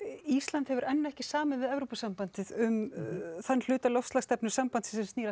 Ísland hefur enn ekki samið við Evrópusambandið um þann hluta loftslagsstefnu sambandsins sem snýr að